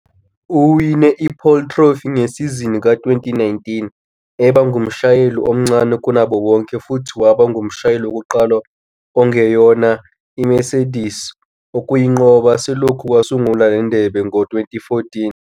Uwine iPole Trophy ngesizini ka-2019 eba ngumshayeli omncane kunabo bonke futhi waba ngumshayeli wokuqala ongeyona iMercedes ukuyinqoba selokhu kwasungulwa le ndebe ngo-2014.